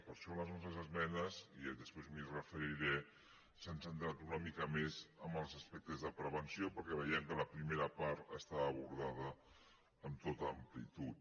per això les nostres esmenes i després m’hi referiré s’han centrat una mica més en els aspectes de prevenció perquè ve·iem que la primera part estava abordada amb tota am·plitud